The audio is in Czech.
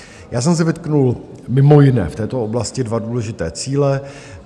Já jsem si vytkl mimo jiné v této oblasti dva důležité cíle.